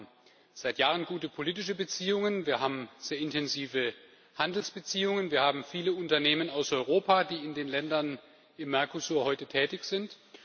Wir haben seit Jahren gute politische Beziehungen, wir haben sehr intensive Handelsbeziehungen, wir haben viele Unternehmen aus Europa, die in den Ländern des Mercosur heute tätig sind.